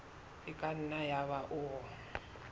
e ka nna yaba o